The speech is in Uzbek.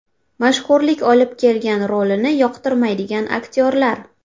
Mashhurlik olib kelgan rolini yoqtirmaydigan aktyorlar.